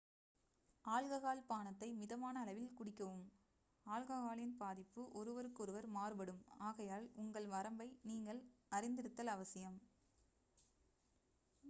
alcohol பானத்தை மிதமான அளவில் குடிக்கவும் ஆல்கஹாலின் பாதிப்பு ஒருவருக்கொருவர் மாறுபடும் ஆகையால் உங்கள் வரம்பை நீங்கள் அறிந்திருத்தல் அவசியம்